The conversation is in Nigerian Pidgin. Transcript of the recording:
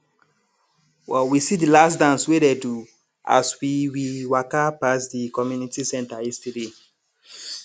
we see de last dance wey dey do as we we waka pass de community center yesterday